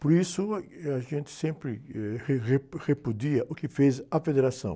Por isso, ah, eh, a gente sempre, eh, re, repu, repudia o que fez a federação.